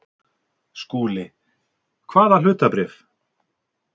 SKÚLI: Hvaða hlutabréf?